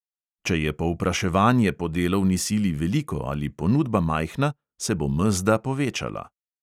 Če je povpraševanje po delovni sili veliko ali ponudba majhna, se bo mezda povečala.